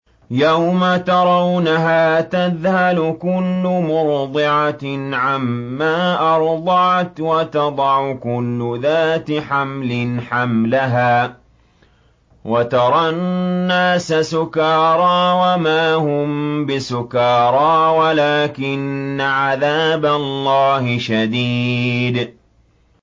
يَوْمَ تَرَوْنَهَا تَذْهَلُ كُلُّ مُرْضِعَةٍ عَمَّا أَرْضَعَتْ وَتَضَعُ كُلُّ ذَاتِ حَمْلٍ حَمْلَهَا وَتَرَى النَّاسَ سُكَارَىٰ وَمَا هُم بِسُكَارَىٰ وَلَٰكِنَّ عَذَابَ اللَّهِ شَدِيدٌ